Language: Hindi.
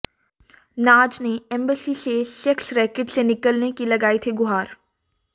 नाज ने एम्बेसी से सेक्स रैकेट से निकालने की लगाई थी गुहार